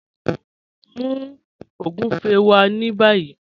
Mú ogúnfẹ̀ wá ní bàyì